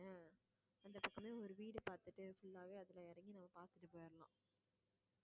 அந்த பக்கமே ஒரு வீடு பார்த்துட்டு full ஆவே அதுல இறங்கி நம்ம பார்த்துட்டு போயிடலாம்